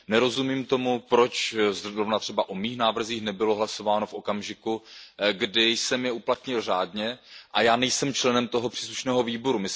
Nerozumím tomu, proč zrovna třeba o mých návrzích nebylo hlasováno v okamžiku, kdy jsem je uplatnil řádně, a já nejsem členem toho příslušného výboru.